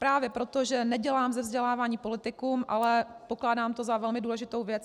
Právě proto, že nedělám ze vzdělávání politikum, ale pokládám to za velmi důležitou věc.